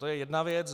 To je jedna věc.